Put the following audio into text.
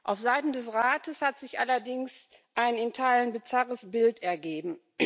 Auf Seiten des Rates hat sich allerdings ein in Teilen bizarres Bild ergeben.